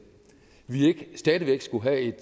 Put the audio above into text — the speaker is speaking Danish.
stadig væk skulle have et